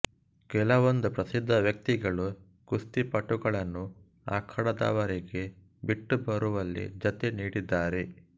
ಕೆಲವೊಂದು ಪ್ರಸಿದ್ಧ ವ್ಯಕ್ತಿಗಳು ಕುಸ್ತಿಪಟುಗಳನ್ನು ಅಖಾಡದವರೆಗೆ ಬಿಟ್ಟುಬರುವಲ್ಲಿ ಜತೆ ನೀಡಿದ್ದಾರೆ